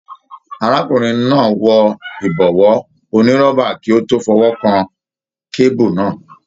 Arákùnrin náà wọ ibọwọ onírọ́bà kí o tó fọwọkàn kebu náà.